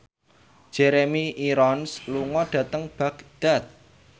Jeremy Irons lunga dhateng Baghdad